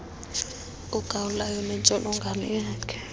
ugawulayo nentsholongwane yakhe